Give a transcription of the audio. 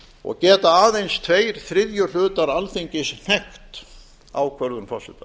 og geta aðeins tveir þriðju hlutar alþingis hnekkt ákvörðun forseta